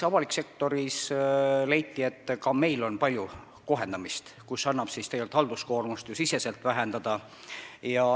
Avalikus sektoris leiti, et ka seal on vaja palju kohendamist, tegelikult annab halduskoormust sektori sees vähendada.